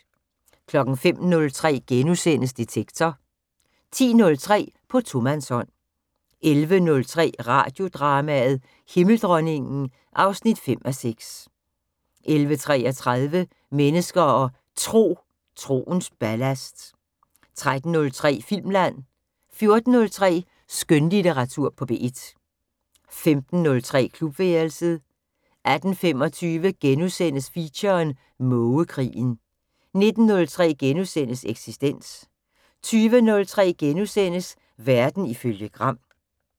05:03: Detektor * 10:03: På tomandshånd 11:03: Radiodrama: Himmeldronningen (5:6) 11:33: Mennesker og Tro: Troens ballast 13:03: Filmland 14:03: Skønlitteratur på P1 15:03: Klubværelset 18:25: Feature: Mågekrigen * 19:03: Eksistens * 20:03: Verden ifølge Gram *